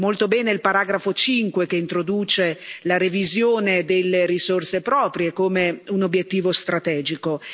Molto bene il paragrafo 5, che introduce la revisione delle risorse proprie come un obiettivo strategico.